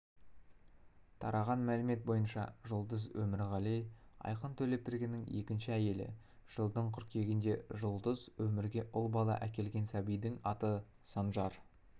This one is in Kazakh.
тараған мәлімет бойынша жұлдыз өмірғали айқын төлепбергеннің екінші әйелі жылдың қыркүйегінде жұлдыз өмірге ұл бала әкелген сәбидің аты санжар